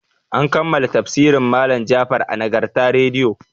An kammala tafsirin malam Jafar a Nagarta rediyo.